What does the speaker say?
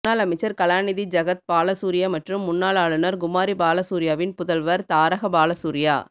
முன்னாள் அமைச்சர் கலாநிதி ஜகத் பாலசூரிய மற்றும் முன்னாள் ஆளுநர் குமாரி பாலசூரியவின் புதல்வர் தாரக பாலசூரிய